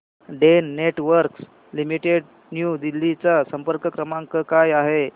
Den Networks Limited New Delhi चा संपर्क क्रमांक काय आहे